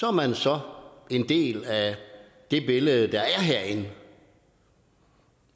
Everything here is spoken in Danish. er man så en del af det billede der er herinde